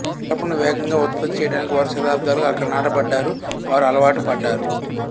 కలపను వేగంగా ఉత్పత్తి చేయడానికి వారు శతాబ్దాలుగా అక్కడ నాటబడ్డారు వారు అలవాటు పడ్డారు